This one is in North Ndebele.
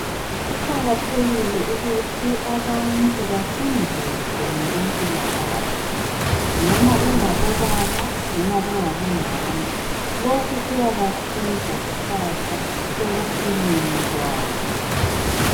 Kuqakathekile ukuthi abantu bafundiswe ngokwempilakahle .Noma bengabo baba noma bengabo mama. Lokhu kuyabasiza kusasa ekuphileni kwabo